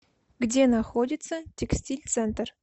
где находится текстиль центр